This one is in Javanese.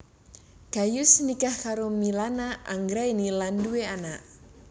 Gayus nikah karo Milana Anggraeni lan duwé anak